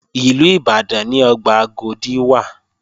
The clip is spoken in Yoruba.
Ìlú Ìbàdàn ni ọgbà Agodi wà